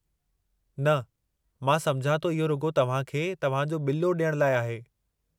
न, मां समुझां थो इहो रुॻो तव्हां खे तव्हां जो बि॒ल्लो ॾियण लाइ आहे।